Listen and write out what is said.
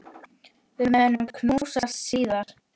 Við munum knúsast síðar.